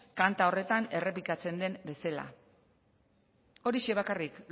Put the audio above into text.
kanta horretan errepikatzen den bezela horixe bakarrik